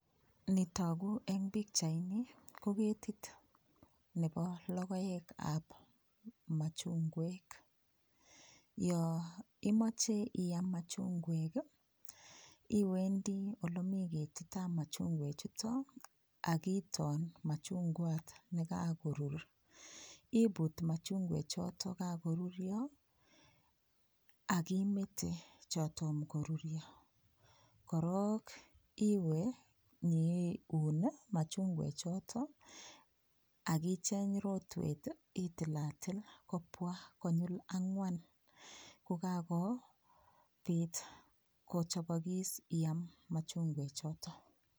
Nitogu en pichait ni ko ketit nebo lokoek ap machunguek, yo imache iyam machunguek iwendi olemi ketit ap machunguek chuto akiton machungwat nekakorur iput machunguek chuto kakoruryo akimete cho tomo koruryo korok iwe nyiun machunguek choto akicheny rotwet itilatil kibwa konyil angwan kokakobit kochobokis iam machunguek choto.